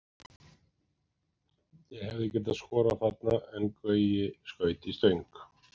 Ég hefði getað skorað þarna og Gaui skaut í stöng.